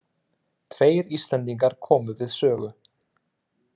Tveir Íslendingar komu við sögu.